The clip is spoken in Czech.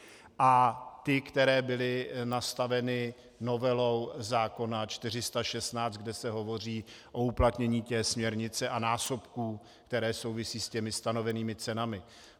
A ty, které byly nastaveny novelou zákona 416, kde se hovoří o uplatnění té směrnice a násobků, které souvisí s těmi stanovenými cenami.